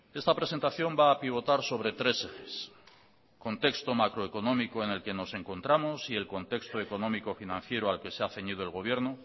esta presentación va a pivotar sobre tres ejes contexto macroeconómico en el que nos encontramos y el contexto económico financiero al que se ha ceñido el gobierno